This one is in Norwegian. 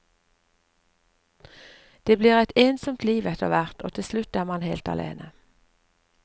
Det blir et ensomt liv etterhvert, og til slutt er man helt alene.